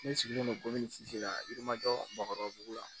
Ne sigilen don komi la i majɔ bakɔ la